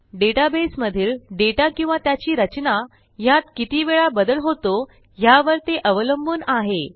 डेटाबेसमधील data किंवा त्याची रचना ह्यात कितीवेळा बदल होतो ह्यावर ते अवलंबून आहे